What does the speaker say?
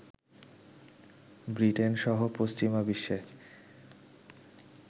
Britain সহ পশ্চিমা বিশ্বে